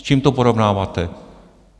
S čím to porovnáváte?